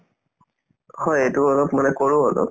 হয়, এইটো অলপ মানে কৰো অলপ